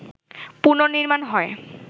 পুনর্নির্মাণ হয়